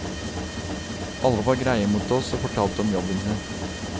Alle var greie mot oss og fortalte om jobben sin.